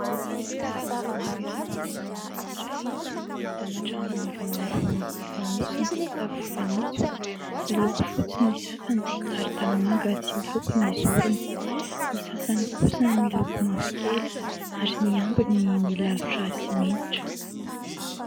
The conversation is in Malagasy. Toeram-ponenana iray ahitana trano maromaro mifanosona, tafo fanitso. Miloko fotsy ny sasany, ary tanimanga tsy loko ny zorony. Ny sasany kosa miloko mavokely ary ny ambiny milalotra simenitra.